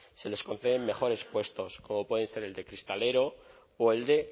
se les conceden mejores puestos como pueden ser el de cristalero o el de